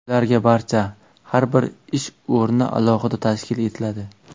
Ularga barcha: Har bir ish o‘rni alohida tashkil etiladi.